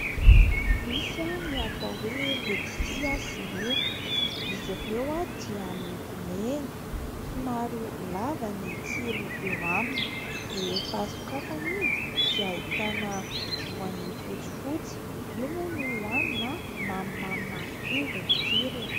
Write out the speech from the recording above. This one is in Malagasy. Misy ny atao hoe letisia sinoa. Izy ireo dia miloko mena, somary lava ny tsilo eo aminy. Rehefa sokafana izy dia ahitana voany fotsifotsy, io moa no hoanina. Mamimamy marikivy ny tsirony.